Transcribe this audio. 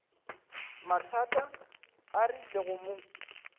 mathata a rile go mo